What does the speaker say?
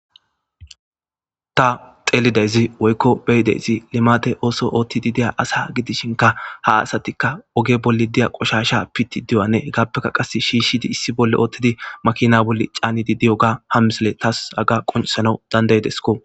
Ta xeelidayzi woykko beyideyzi limate ooso oothtidi diya asa gidishinka ha asatikka oge bolli diya qoshasha piti diyanne hegaappeka qas shiishidi issi bolle oottidi makina bolle caanidi diyoga ham misile taas aga qonsana dandaydesko.